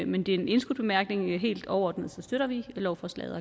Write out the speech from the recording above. men det er en indskudt bemærkning helt overordnet støtter vi lovforslaget